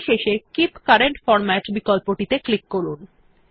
পরিশেষে keep current format বিকল্প টিতে ক্লিক করুন